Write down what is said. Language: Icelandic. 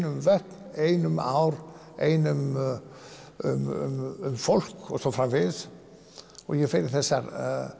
um vötn ein um ár ein um um fólk og svo framvegis og ég fer í þessar